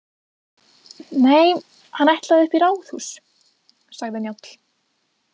Nei, hann ætlaði upp í ráðhús, sagði Njáll.